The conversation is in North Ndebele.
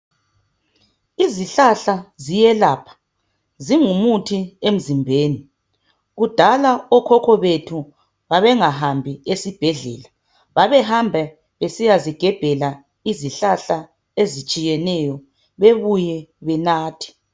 Izihlahla ziyelapha zingumuthi emzimbeni . Kudal okhokho bethu babengahambi esibhedlela babehamba besiyazigebhela izihlahla ezitshiyeneyo bebuye benathe.